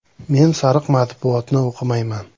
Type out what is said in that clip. Men “sariq matbuot”ni o‘qimayman.